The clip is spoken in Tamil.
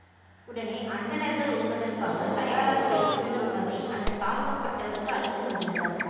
உடனே அந்தணர்கள் உண்பதற்காக தயாராக வைத்திருந்த உணவை அந்த தாழ்த்தப்பட்டவருக்கு அளித்து மகிழ்ந்தார்